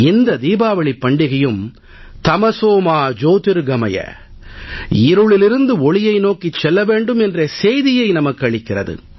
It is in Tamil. இந்த தீபாவளிப் பண்டிகையும் தமஸோ மா ஜ்யோதிர்கமய இருளிலிருந்து ஒளியை நோக்கிச் செல்ல வேண்டும் என்ற செய்தியை நமக்கு அளிக்கிறது